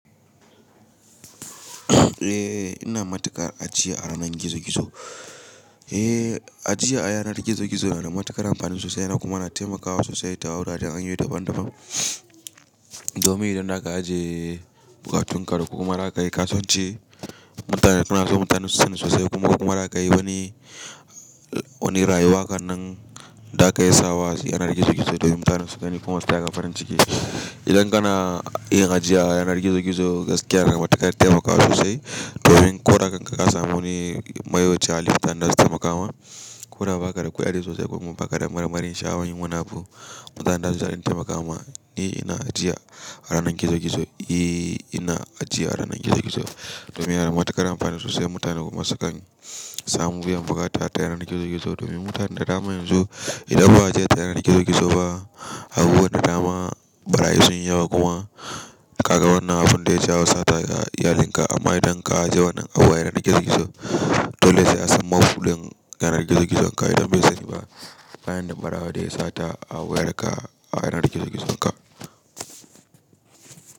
Eh ina matuƙar ajiya a ranar gizo gizo. Eh ajiya a yanar gizo gizo yana da matuƙar amfani sosai kuma yana taimakawa sosai ta wujajen an yi dabam dabam. Domin idan za ka ajiye buƙatunka da kuma za ka yi kasuwanci, mutane kana so mutane su san sosai kuma kuma za ka yi wani, wani rayuwa wannan za ka iya sawa yanar gizo gizo domin mutane su gani kuma su taga farin ciki. Idan kana yin ajiya a yanar gizo gizo gaskiya yana da matuƙar taimakawa sosai domin ko da kanka ka samu wani mayoyita halitta da zai taimakawa. Kuma ba ka da ƙudi sosai kuma ba ka da mara marin shaho yin munafu. Mutanen da zasu iya taimakawa ne ina ajiya a ranar gizo gizo. Eh ina ajiya a ranar gizo gizo domin yana da matuƙar amfani sosai mutane kuma sukan samu biyan buƙata ta yanar gizo gizo domin mutanen da dama yanzu idan ba ajiye ta yanar gizo gizo ba, abubuwan da dama barayu sun yawa kuma ka ga wannan abun zai sha sata ga iyalinka amma idan ka ajiye wannan abu a yanar gizo gizo dole sai a samu wadan yanar gizo gizo ka idan bai sani ba bayan din mara wada ya sata abu ya daka a yanar gizo gizo ka.